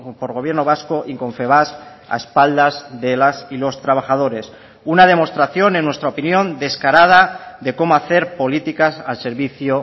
por gobierno vasco y confebask a espaldas de las y los trabajadores una demostración en nuestra opinión descarada de cómo hacer políticas al servicio